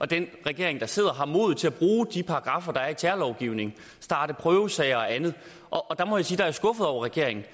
at den regering der sidder har mod til at bruge de paragraffer der er i terrorlovgivningen starte prøvesager og andet og der må jeg sige at jeg er skuffet over regeringen